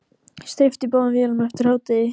Steypt í báðum vélum eftir hádegi.